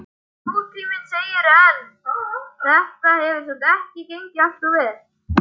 Nútíminn, segirðu, en þetta hefur samt ekki gengið alltof vel?